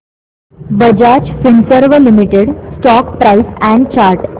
Bajaj Finserv limited stock price and chart